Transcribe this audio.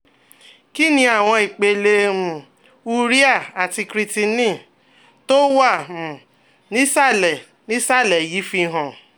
Kí ni àwọn ipele um urea àti creatinine tó wà um nísàlẹ̀ nísàlẹ̀ yìí fihàn?